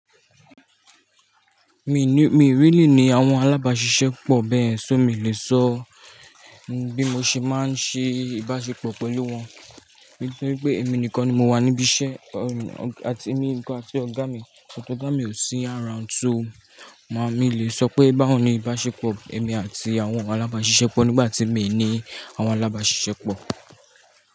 Mi ní, mi rili ní àwọn alábàáṣiṣẹ́ pọ̀ bẹ́ẹ̀yen, ṣó mi lè sọ bí mo ṣe máa ń ṣe ìbáṣepọ̀ pẹ̀lú wọn. Nítorí pé èmi nìkan ni mo wà níbí iṣẹ́, èmi nìkan àti ọ̀gá mi, but ọ̀gá mi ò sí around, so, mi o lè sọ pé báwo ni ìbáṣepọ̀ èmi àti àwọn alábáṣiṣẹ́ pọ̀ nígbà tí mi ní àwọn alábáṣiṣẹ́ pọ̀